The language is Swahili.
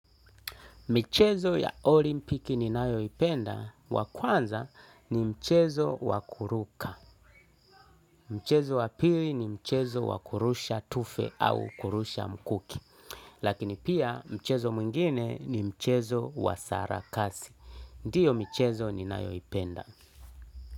Michezo ya olimpiki ninayoipenda wa kwanza ni mchezo wa kuruka. Mchezo wa pili ni mchezo wa kurusha tufe au kurusha mkuki. Lakini pia mchezo mwingine ni mchezo wa sarakasi. Ndiyo michezo ninayoipenda.